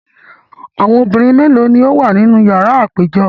Awọn obinrin melo ni o wa ninu yara apejọ?